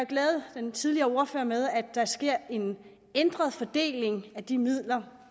glæde den tidligere ordfører med at der sker en ændret fordeling af de midler